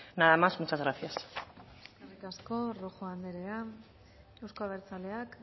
nada más muchas gracias eskerrik asko rojo andrea euzko abertzaleak